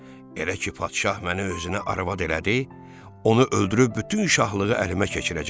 Elə ki, padşah məni özünə arvad elədi, onu öldürüb bütün şahlığı əlimə keçirəcəm.